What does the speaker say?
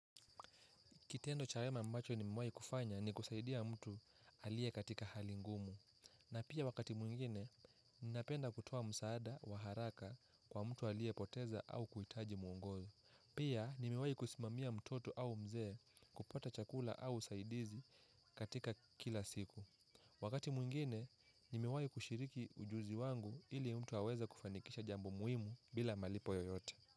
Kitendo cha wema ambacho nimewai kufanya ni kusaidia mtu aliye katika hali ngumu. Na pia wakati mwingine, ninapenda kutoa msaada wa haraka kwa mtu aliye poteza au kuhitaji mwongozo. Pia nimewai kusimamia mtoto au mzee kupata chakula au usaidizi katika kila siku. Wakati mwingine, nimewai kushiriki ujuzi wangu ili mtu aweze kufanikisha jambo muhimu bila malipo yoyote.